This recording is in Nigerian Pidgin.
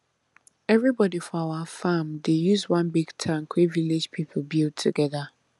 everybody for our farm dey use one big tank wey village people build together